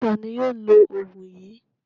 Ta ni yóò lo òògùn yìí?